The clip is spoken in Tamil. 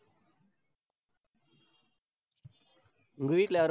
உங்க வீட்ல யாரும்